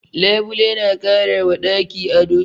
Labule na kara wa ɗaki ado.